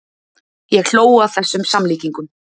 Ég hló að þessum samlíkingum.